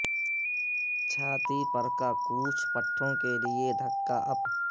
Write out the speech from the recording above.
چھاتی پر کا کوچ پٹھوں کے لئے دھکا اپ